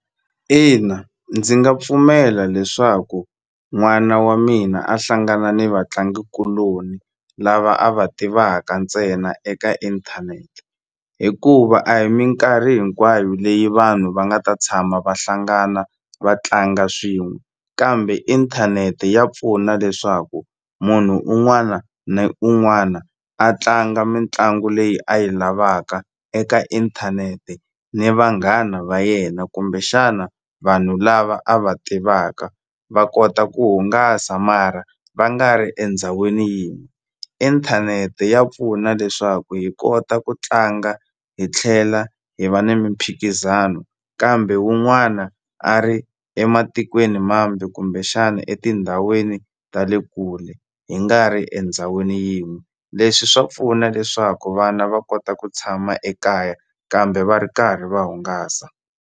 Ina ndzi nga pfumela leswaku n'wana wa mina a hlangana ni vatlangikuloni lava a va tivaka ntsena eka inthanete hikuva a hi minkarhi hinkwayo leyi vanhu va nga ta tshama va hlangana va tlanga swin'we kambe inthanete ya pfuna leswaku munhu un'wana na un'wana a tlanga mitlangu leyi a yi lavaka eka inthanete ni vanghana va yena kumbexana vanhu lava a va tivaka va kota ku hungasa mara va nga ri endhawini yin'we inthanete ya pfuna leswaku hi kota ku tlanga hi tlhela hi va ni mimphikizano kambe wun'wana a ri ematikweni mambe kumbexani etindhawini ta le kule hi nga ri endhawini yin'we leswi swa pfuna leswaku vana va kota ku tshama ekaya kambe va ri karhi va hungasa.